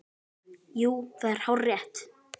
Jú, það er hárrétt